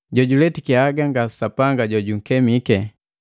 Jojuletiki haga nga Sapanga jojunkemike.